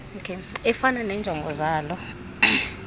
efana neenjongo zalo